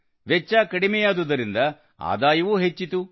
ವೆಚ್ಚ ಕಡಿಮೆಯಾದುದರಿಂದ ಆದಾಯವೂ ಹೆಚ್ಚಿತು